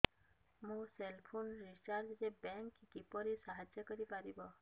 ମୋ cell phone recharge ରେ bank କିପରି ସାହାଯ୍ୟ କରିପାରିବ